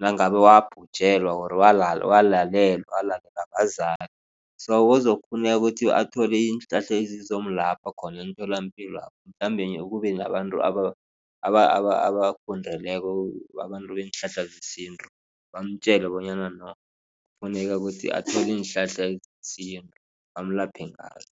Nangabe wabhujelwa or walalelwa bazali, so kuzokufuneka ukuthi athole iinhlahla ezizomlapha khona emtholapilo lapho. Mhlambe kube nabantu abafundeleko abantu beenhlahla zesintu bamtjele bonyana no kufuneka ukuthi athole iinhlahla zesintu bamlaphe ngazo.